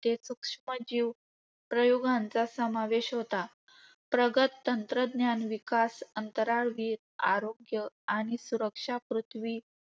सूक्ष्मजीव प्रयोगांचा समावेश होता. प्रगत तंत्रज्ञान विकास, अंतराळवीर आरोग्य आणि सुरक्षा, पृथ्वी